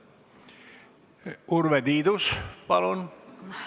Urve Tiidus, palun!